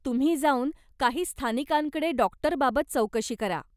तुम्ही जाऊन काही स्थानिकांकडे डाॅक्टरबाबत चौकशी करा.